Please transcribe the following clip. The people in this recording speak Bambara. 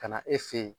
Ka na e fe yen